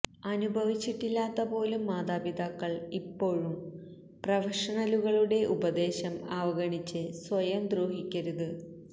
അനുഭവിച്ചിട്ടില്ലാത്ത പോലും മാതാപിതാക്കൾ ഇപ്പോഴും പ്രൊഫഷണലുകളുടെ ഉപദേശം അവഗണിച്ച് സ്വയം ദ്രോഹിക്കരുത്